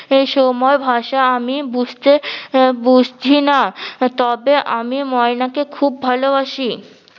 এই সময় ভাষা আমি বুঝতে এহ বুঝি না, তবে আমি ময়না কে খুব ভালোবাসি